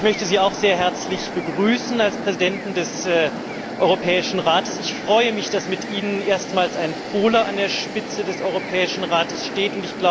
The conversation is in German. Herr Präsident Tusk, ich möchte Sie auch sehr herzlich begrüßen, als Präsidenten des Europäischen Rates. Ich freue mich, dass mit Ihnen erstmals ein Pole an der Spitze des Europäischen Rates steht.